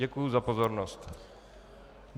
Děkuji za pozornost.